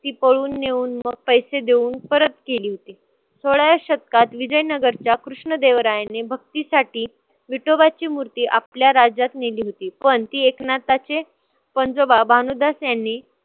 ती पळवून नेऊन मग पैसे देऊन परत केली होती. सोळाव्या शतकात विजयनगरच्या कृष्ण देवरायाने भक्तीसाठी विठोबाची मूर्ती आपल्या राज्यात नेली होती, पण ती एकनाथाचे पंजोबा भानुदास यांनी